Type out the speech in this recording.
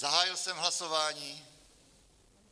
Zahájil jsem hlasování.